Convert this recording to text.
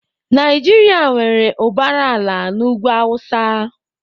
Naijiria nwere ụbara ala n'ugwu awụsa.